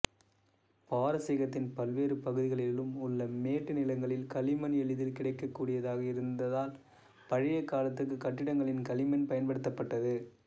பாரசீகத்தின் பல்வேறு பகுதிகளிலும் உள்ள மேட்டு நிலங்களில் களிமண் எளிதில் கிடைக்கக்கூடியதாக இருந்ததால் பழைய காலத்துக் கட்டிடங்களில் களிமண் பயன்படுத்தப்பட்டது